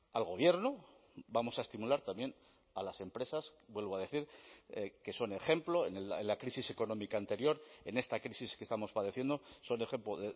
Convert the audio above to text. al gobierno vamos a estimular también a las empresas vuelvo a decir que son ejemplo en la crisis económica anterior en esta crisis que estamos padeciendo son ejemplo